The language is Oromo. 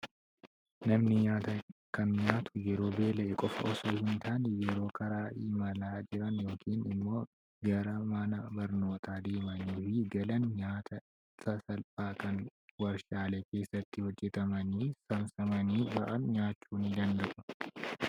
Namni nyaata kan nyaatu yeroo beela'e qofa osoo hin taane, yeroo karaa imalaa jiran yookiin immoo gara mana barnootaa deemanii fi galan nyaata sassalphaa kan warshaalee keessatti hojjetamanii saamsamanii ba'an nyaachu ni danda'u.